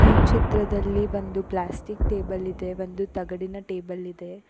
ಈ ಚಿತ್ರದಲ್ಲಿ ಬಂದು ಪ್ಲಾಸ್ಟಿಕ್ ಟೇಬಲ್ ಇದೆ ಒಂದು ತಗಡಿನ ಟೇಬಲ್ ಇದೆ.